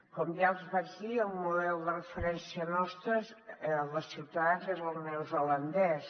com ja els vaig dir el model de referència nostre el de ciutadans és el neozelandès